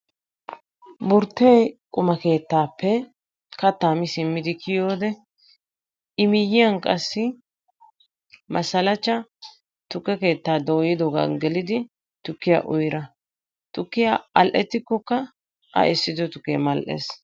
Burtte qummaa keettaappe kattaa mi simmidi kiyode I miyyiyan qassi Masalacha tukke keettaa dooyiddoogan gelidi tukkiya uyida. Tukkiya al"ettikkokka A essiddo tukke mal"ees.